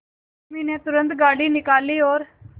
उर्मी ने तुरंत गाड़ी निकाली और